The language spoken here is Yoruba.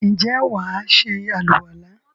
ǹjẹ́ wà á se àlùwàlá?